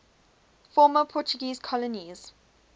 former portuguese colonies